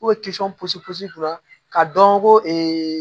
ka dɔn ko